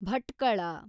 Bhatkal